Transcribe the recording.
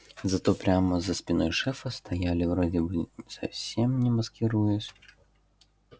зато прямо за спиной шефа стояли вроде бы совсем не маскируясь